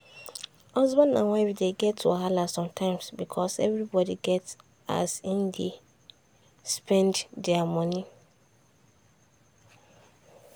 husband and wife dey get wahala sometimes because everybody get as im dey spend their money.